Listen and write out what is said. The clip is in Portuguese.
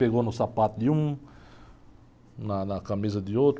Pegou no sapato de um, na, na camisa de outro.